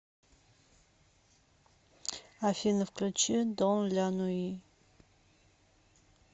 афина включи дон ля нуи